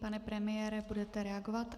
Pane premiére, budete reagovat?